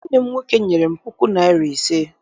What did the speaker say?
Nwanne m nwoke nyere m puku naịra na ise.